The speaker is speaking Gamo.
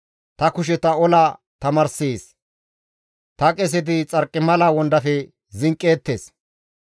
Ta kusheta ola tamaarssees; ta qeseti xarqimala wondafe zinqqeettes.